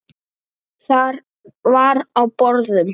Þar var á borðum